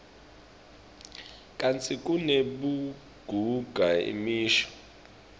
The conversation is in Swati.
kantsi kunebugagu imisho